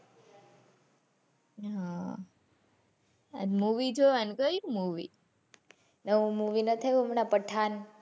હા આજ Movie જોવા ને કયી Movie ઓલું movie નથી આવ્યું હમણાં પઠાણ,